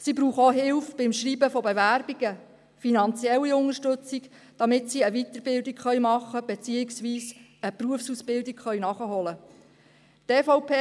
Sie brauchen auch Hilfe beim Schreiben von Bewerbungen und finanzielle Unterstützung, damit sie eine Weiterbildung machen beziehungsweise eine Berufsausbildung nachholen können.